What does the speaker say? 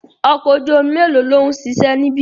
Ọkọ̀ ojú omi melo lòun ṣiṣẹ́ níbi?